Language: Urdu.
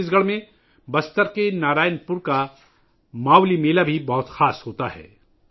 چھتیس گڑھ میں بستر کے نارائن پور کا 'ماولی میلہ ' بھی بہت خاص ہوتا ہے